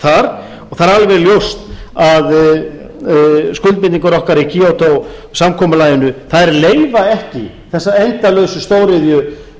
og það er alveg ljóst að skuldbindingar okkar í kyoto samkomulaginu leyfa ekki þessar endalausu stóriðju